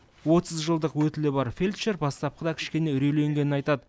отыз жылдық өтілі бар фельдшер бастапқыда кішкене үрейленгенін айтады